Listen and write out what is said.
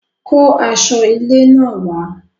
Kó aṣọ ilé náà wàá